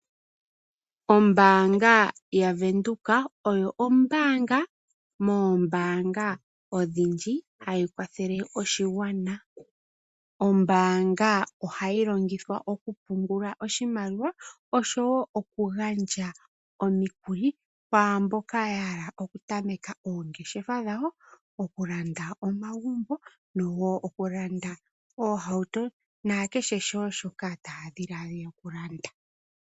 Ombaanga yaVenduka oyo ombaanga moombaanga hayi kwathele oshigwana. Ohayi longithwa okupungula iimaliwa oshowo oku gandja omikuli kwaamboka ya hala okulanda omagumbo, oohauto na kehe shoka ya hala okulanda.